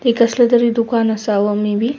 ही कसलं तरी दुकान असावं मे बी .